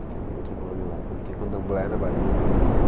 Que tem outro nome lá, como tem candomblé na Bahia, né?